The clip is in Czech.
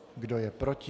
Kdo je proti?